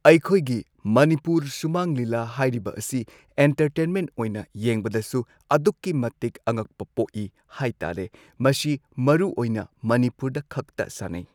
ꯑꯩꯈꯣꯏꯒꯤ ꯃꯅꯤꯄꯨꯔ ꯁꯨꯃꯥꯡ ꯂꯤꯂꯥ ꯍꯥꯏꯔꯤꯕ ꯑꯁꯤ ꯏꯟꯇꯔꯇꯦꯟꯃꯦꯟ ꯑꯣꯏꯅ ꯌꯦꯡꯕꯗꯁꯨ ꯑꯗꯨꯛꯀꯤ ꯃꯇꯤꯛ ꯑꯉꯛꯄ ꯄꯣꯛꯏ ꯍꯥꯏꯇꯥꯔꯦ ꯃꯁꯤ ꯃꯔꯨꯑꯣꯏꯅ ꯃꯅꯤꯄꯨꯔꯗ ꯈꯛꯇ ꯁꯥꯟꯅꯩ꯫